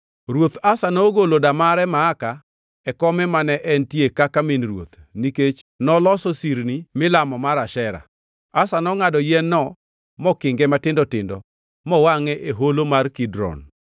Ruoth Asa nogolo damare Maaka e kome mane entie kaka min ruoth nikech noloso sirni milamo mar Ashera. Asa nongʼado yien-no mokinge matindo tindo mowangʼe e holo mar Kidron.